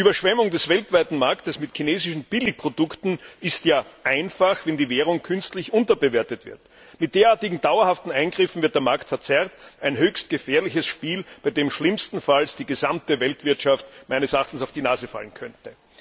Die Überschwemmung des Weltmarkts mit chinesischen Billigprodukten ist ja einfach, wenn die Währung künstlich unterbewertet wird. Mit derartigen dauerhaften Eingriffen wird der Markt verzerrt ein höchst gefährliches Spiel, bei dem schlimmstenfalls die gesamte Weltwirtschaft auf die Nase fallen könnte.